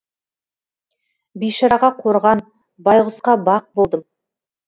бейшараға қорған байғұсқа бақ болдым